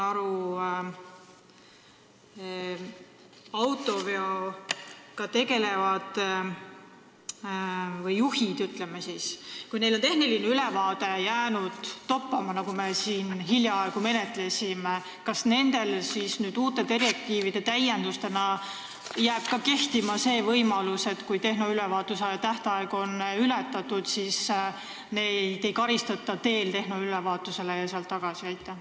Kui autoveoga tegelejatel või, ütleme, juhtidel on tehnoülevaatus jäänud toppama – seda me siin hiljaaegu menetlesime –, siis kas nüüd, pärast direktiivide tõttu tehtud täiendusi jääb kehtima ka see võimalus, et kui tehnoülevaatuse tähtaeg on ületatud, siis neid ei karistata teel tehnoülevaatusele ja sealt tagasi?